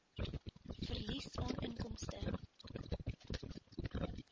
verlies aan inkomste